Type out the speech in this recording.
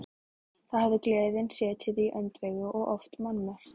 Þá hafði gleðin setið í öndvegi og oft mannmargt.